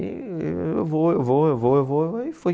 E eu vou, eu vou, eu vou, eu vou e fui.